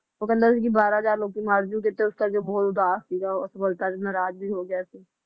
ਉਹ ਕਹਿੰਦਾ ਸੀ ਕਿ ਬਾਹਰਾ ਹਜਾਰ ਲੋਕੀ ਮਰ ਜੂਗੇ ਤੇ ਇਸ ਕਰਕੇ ਉਹ ਬਹੁਤ ਸੀ ਤੇ ਨਰਾਜ ਵੀ ਹੋ ਗਿਆ ਸੀ